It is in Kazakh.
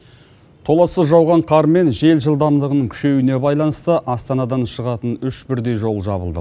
толассыз жауған қар мен жел жылдамдығының күшеюіне байланысты астанадан шығатын үш бірдей жол жабылды